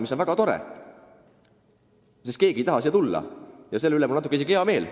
See on väga tore, sest keegi neist ei taha siia tulla ja selle üle on mul natuke isegi hea meel.